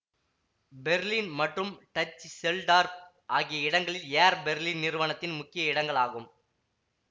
Berlin மற்றும் Dusseldorf ஆகிய இடங்கள் ஏர் பெர்லின் நிறுவனத்தின் முக்கிய இடங்கள் ஆகும்